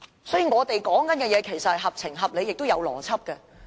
所以，我們說的其實合情合理，也合符邏輯。